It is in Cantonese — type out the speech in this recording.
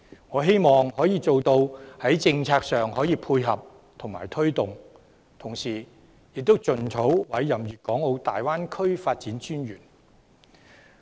我希望在政策上可以作出配合和推動，並盡早委任大灣區發展專員。